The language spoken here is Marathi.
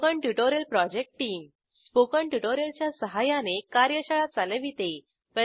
spoken tutorial project team spoken tutorial च्या सहाय्याने कार्यशाळा चालविते